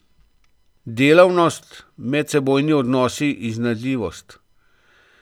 Delavnost, medsebojni odnosi, iznajdljivost.